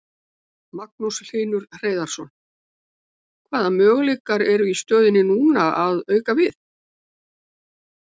Magnús Hlynur Hreiðarsson: Hvaða möguleikar eru í stöðunni núna að auka við?